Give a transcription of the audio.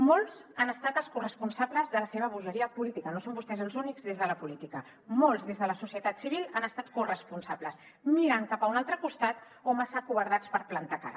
molts han estat els corresponsables de la seva bogeria política no són vostès els únics des de la política molts des de la societat civil n’han estat corresponsables miren cap a un altre costat o massa acovardits per plantar cara